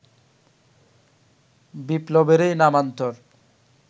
বিপ্লবেরই নামান্তর